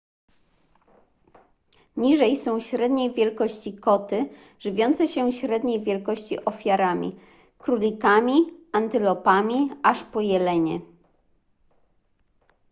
niżej są średniej wielkości koty żywiące się średniej wielkości ofiarami królikami antylopami aż po jelenie